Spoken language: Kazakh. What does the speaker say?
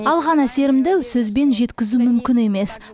алған әсерімді сөзбен жеткізу мүмкін емес